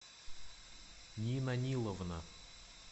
нина ниловна